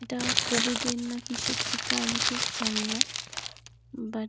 এটা কোভিড -এর না কিসের টিকা আমি ঠিক জানি না বাট --